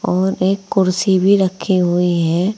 और एक कुर्सी भी रखे हुए हैं।